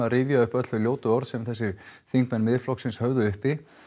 að rifja upp öll þau ljótu orð sem þessir þingmenn Miðflokksins höfðu uppi